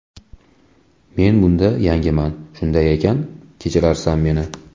Men bunda yangiman, shunday ekan kechirarsan meni.